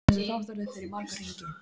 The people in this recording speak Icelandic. Þessi þáttaröð fer í marga hringi.